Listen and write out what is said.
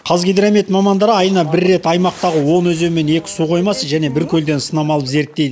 қазгидромет мамандары айына бір рет аймақтағы он өзен мен екі су қоймасы және бір көлден сынама алып зерттей